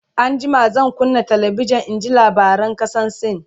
an jima zan kunna talabijan in ji labaran kasan sin